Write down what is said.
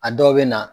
A dɔw bɛ na